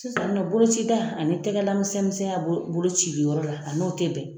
Sisan nin nɔn bolocida ani tɛgɛla misɛn misɛnya bolocili yɔrɔ la, a n'o ti bɛn.